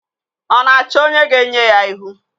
Ọ na-achọ onye ga-enye ya ihu?